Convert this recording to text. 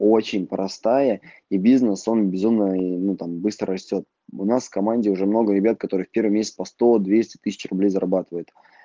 очень простая и бизнес он безумно ну там быстро растёт у нас в команде уже много ребят которые в первый месяц сто двести тысяч руб зарабатывает